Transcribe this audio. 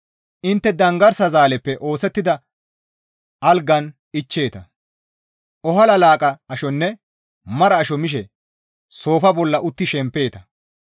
Intte danggarsa zaaleppe oosettida algan ichcheeta; ohala laaqqa ashonne mara asho mishe soofa bolla utti shempeeta.